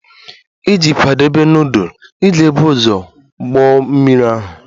Iji kwadebe nudulu, ị ga-ebu ụzọ kpoo mmiri ahụ.